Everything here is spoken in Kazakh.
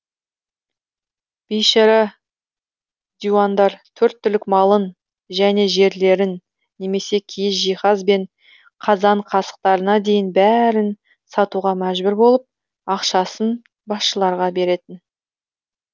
бейшара диуандар төрт түлік малын және жерлерін немесе киіз жиһаз бен қазан қасықтарына дейін бәрін сатуға мәжбүр болып ақшасын басшыларға беретін